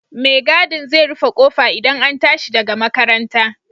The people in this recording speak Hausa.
Mai gadin zai rufe ƙofa idan an tashi daga makaranta